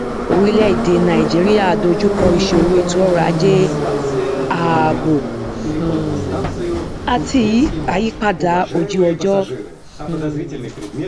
orílẹèdè nàìjíríà dojú kọ ìṣòro ètòọrọajé ààbò um àti àyípadà ojúọjọ um